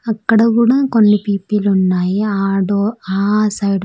అక్కడ కూడా కొన్ని పీపీలు ఉన్నాయి ఆడో ఆ సైడ్ .